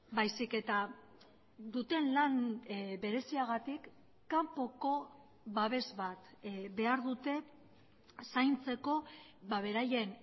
baizik eta duten lan bereziagatik kanpoko babes bat behar dute zaintzeko beraien